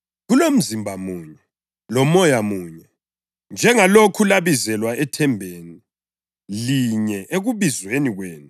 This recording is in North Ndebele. Kulomzimba munye loMoya munye; njengalokhu labizelwa ethembeni linye ekubizweni kwenu,